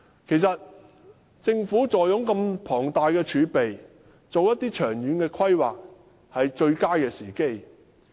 其實，政府坐擁如此龐大的儲備，正是制訂長遠規劃的最佳時機。